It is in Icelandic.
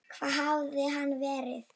Hvar hafði hann verið?